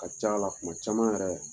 A ka ca la kuma caman yɛrɛ